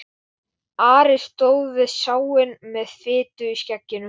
Ari stóð við sáinn með fitu í skegginu.